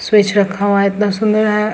Switch रखा हुआ है इतना सुन्दर है।